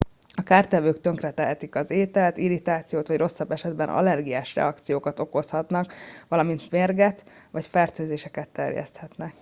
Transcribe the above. a kártevők tönkretehetik az ételt irritációt vagy rosszabb esetben allergiás reakciókat okozhatnak valamint mérget vagy fertőzéseket terjeszthetnek